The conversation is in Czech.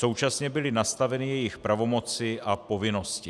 Současně byly nastaveny jejich pravomoci a povinnosti.